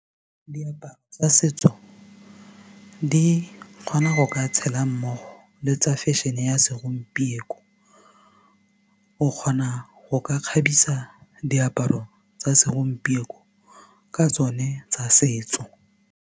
Diaparo tsa setso di kgona go ka tshela mmogo le tsa fashion-e ya segompieko o kgona go ka kgabisa diaparo tsa segompieko ka tsone tsa setso.